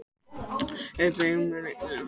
Auðberg, hvað er lengi opið í Nettó?